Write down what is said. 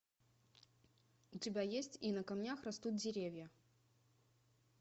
у тебя есть и на камнях растут деревья